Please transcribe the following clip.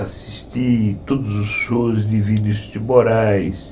Assisti todos os shows de Vinicius de Moraes.